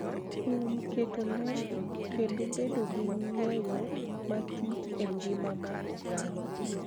Kuom keto ler kendo bedo gi ng�eyo matut e ngima mar oganda.